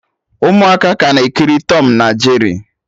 Ụmụaka ka na-ekiri Tọm na Jeri